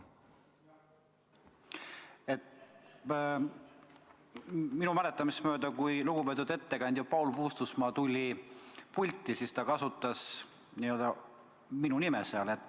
Minu mäletamist mööda, kui lugupeetud ettekandja Paul Puustusmaa tuli pulti, siis ta kasutas minu nime.